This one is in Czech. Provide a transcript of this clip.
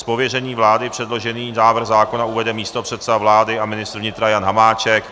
Z pověření vlády předložený návrh zákona uvede místopředseda vlády a ministr vnitra Jan Hamáček.